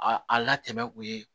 A a latɛmɛ u ye